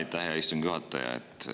Aitäh, hea istungi juhataja!